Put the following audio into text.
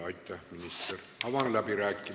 Aitäh, minister!